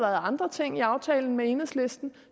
andre ting i aftalen med enhedslisten